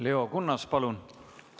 Leo Kunnas, palun!